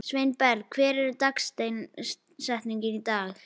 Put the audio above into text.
Sveinberg, hver er dagsetningin í dag?